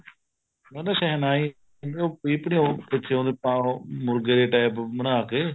ਨਾ ਨਾ ਸ਼ਹਿਨਾਈ ਨੀ ਉਹ ਪੀਪਣੀ ਪਿੱਛੇ ਉਹਦੇ ਉਹ ਮੁਰਗੇ ਦੇ type ਬਣਾਕੇ